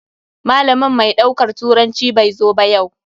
Malamin mai daukar turanci bai zo ba yau.